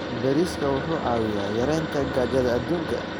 Bariiska wuxuu caawiyaa yareynta gaajada adduunka.